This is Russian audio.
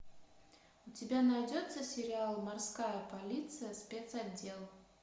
у тебя найдется сериал морская полиция спецотдел